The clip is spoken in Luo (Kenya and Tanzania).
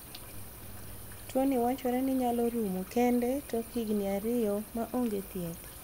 Tuoni wachore ni nyalo rumo kende tok higni ariyo ma ong'e thieth.